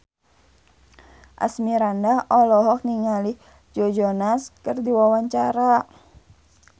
Asmirandah olohok ningali Joe Jonas keur diwawancara